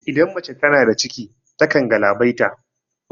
Idan mace tana da ciki ta kan galabaita